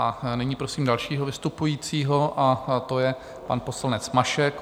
A nyní prosím dalšího vystupujícího a to je pan poslanec Mašek.